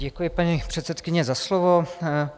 Děkuji, paní předsedkyně, za slovo.